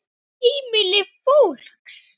Heimili fólks.